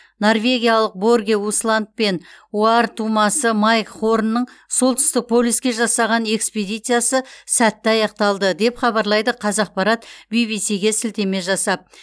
норвегиялық борге усланд пен оар тумасы майк хорнның солтүстік полюске жасаған экспедициясы сәтті аяқталды деп хабарлайды қазақпарат бибиси ге сілтеме жасап